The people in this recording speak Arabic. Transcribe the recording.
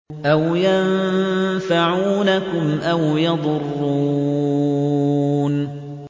أَوْ يَنفَعُونَكُمْ أَوْ يَضُرُّونَ